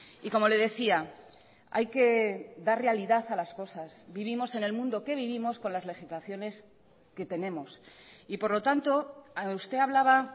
y como le decía hay que dar realidad a las cosas vivimos en el mundo que vivimos con las legislaciones que tenemos y por lo tanto usted hablaba